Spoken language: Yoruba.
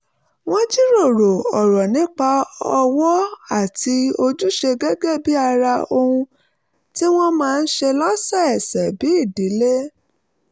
wọ́n jíròrò ọ̀rọ̀ nípa ọ̀wọ̀ àti ojúṣe gẹ́gẹ́ bí ara ohun tí wọ́n máa ń ṣe lọ́sọ̀ọ̀sẹ̀ bí ìdílé